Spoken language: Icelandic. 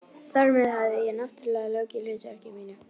Þar með hafði ég- náttúrlega- lokið hlutverki mínu.